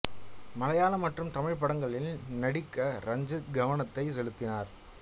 மலையாள மற்றும் தமிழ் படங்களில் நடிக்க ரஞ்சித் கவனத்தை செலுத்தினார்